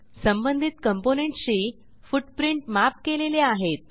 संबंधित componentsशी footprint map केलेले आहेत